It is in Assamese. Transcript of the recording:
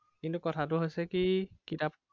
কিন্তু কথাতো হৈছে কি কিতাপ